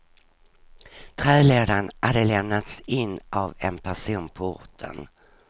Trälådan hade lämnats in av en person på orten.